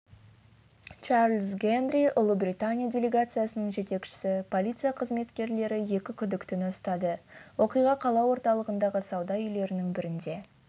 чарлз генри ұлыбритания делегациясының жетекшісі полиция қызметкерлері екі күдіктіні ұстады оқиға қала орталығындағы сауда үйлерінің бірінде